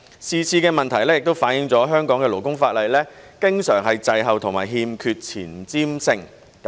是次的問題亦反映了香港的勞工法例經常滯後和欠缺前瞻性。